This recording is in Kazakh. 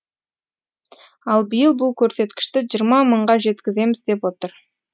ал биыл бұл көрсеткішті жиырма мыңға жеткіземіз деп отыр